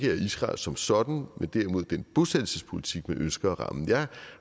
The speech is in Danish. er israel som sådan men derimod bosættelsespolitikken ønsker at ramme jeg